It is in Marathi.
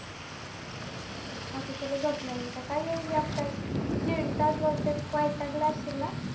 आता तुला झोप नाही येईल तर काय येईल एकटाच दीड तास बोलतोय वैतागला असशील ना